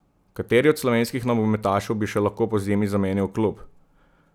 Kateri od slovenskih nogometašev bi še lahko pozimi zamenjal klub?